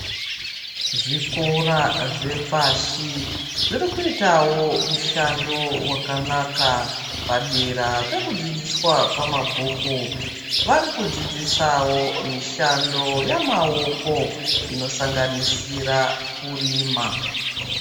Zvikora zvepashi zvirikuitawo mushando wakanaka padera pekudzidziswa kwemabhuku varikudzidzisawo mishando yamaoko inosanganisira kurima.